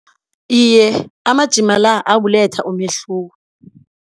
Iye, amajima la abuletha umehluko.